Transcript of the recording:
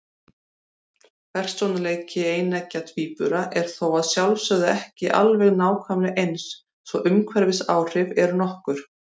Persónuleiki eineggja tvíbura er þó að sjálfsögðu ekki alveg nákvæmlega eins, svo umhverfisáhrif eru nokkur.